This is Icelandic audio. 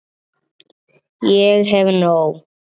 Ég hef nóg.